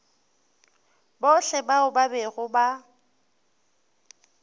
bohle bao ba bego ba